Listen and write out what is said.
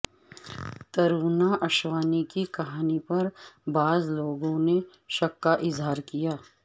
ترونا اشوانی کی کہانی پر بعض لوگوں نے شک کا اظہار کیا